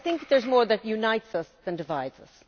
So I think there is more that unites us than divides us.